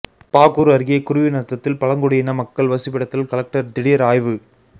பாகூர் அருகே குருவிநத்தத்தில் பழங்குடியின மக்கள் வசிப்பிடத்தில் கலெக்டர் திடீர் ஆய்வு